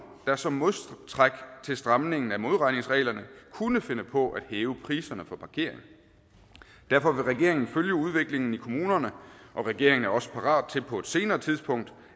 der som modtræk til stramningen af modregningsregler kunne finde på at hæve priserne for parkering derfor vil regeringen følge udviklingen i kommunerne og regeringen er også parat til på et senere tidspunkt